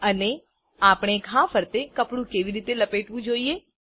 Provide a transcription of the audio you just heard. અને આપણે ઘા ફરતે કપડું કેવી રીતે લપેટવું જોઈએ